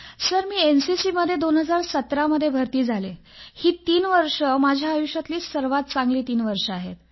sir मी NCC मध्ये 2017 मध्ये भरती झाले आणि ही तीन वर्षे माझ्या आयुष्यातील सर्वात चांगली तीन वर्ष आहेत